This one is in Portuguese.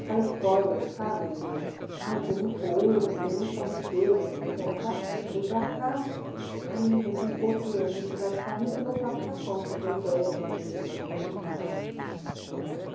Aquela história, sabe, do ai tem muito ouro, tem muita riqueza aqui, vem para cá, aí daqui um pouco a gente vai ficar rica e voltar para o Japão, que era a ideia que eles tinham quando vinham para cá.